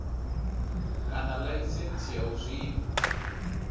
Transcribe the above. kana laisentsi ya u zwima